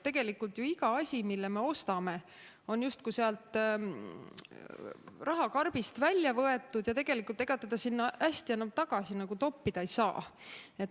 Tegelikult ju iga asi, mille me ostame, on justkui sealt rahakarbist välja võetud ja ega teda sinna hästi tagasi toppida ei saa.